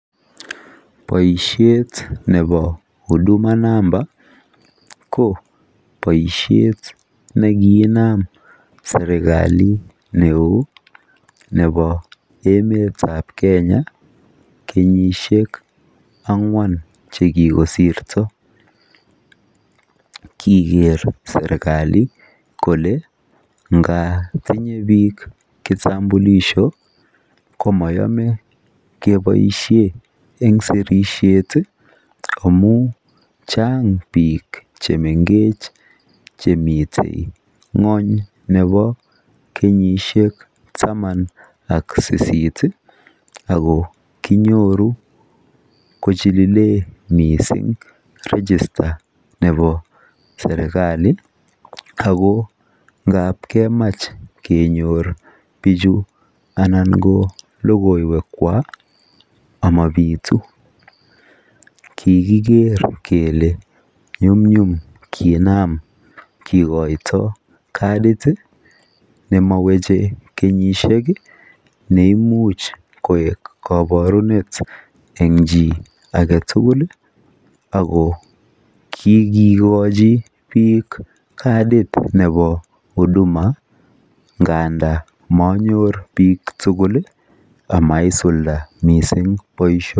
Boisiet nebo[huduma number] ko boisiet ne kiinam serkali nebo emetab Kenya kenyisiek angwan che kikosirto koger serkali kole ngatinye bik [ kitambulisho] ko moyome keboisien ang sirisiet iih amun chang bik che mengech chemiten ngwony nebo kenyisiek taman AK sisit ago kinyoru kochililen mising [register]nebo serkali ago ngandap kemach kenyor bichu anan ko logoiwekwak amobitu kikiger kele nyumnyum kinam kikoito cardid iih nemoweche kenyisiek neimuch koek kaborunet eng chii agetugul ago kikochi bik cardid nebo huduma ngandan monyor bik tugul amaisulda mising boisio...